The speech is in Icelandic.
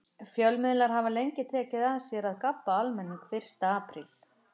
Fjölmiðlar hafa lengi tekið að sér að gabba almenning fyrsta apríl.